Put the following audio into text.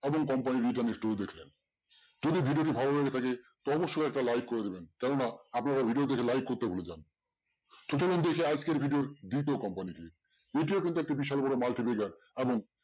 এমন company যদি video টি ভালো লেগে থাকে অবশ্যই একটা like করে দেবেন কেননা আপনারা video দেখে like করতে ভুলে যান আজকের video company বিশাল বড়